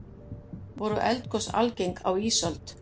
voru eldgos algeng á ísöld